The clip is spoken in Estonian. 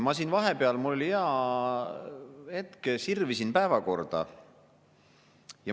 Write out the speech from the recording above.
Ma siin vahepeal, kui mul oli hea hetk, sirvisin päevakorda.